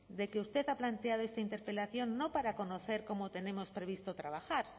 de que usted ha planteado esta interpelación no para conocer cómo tenemos previsto trabajar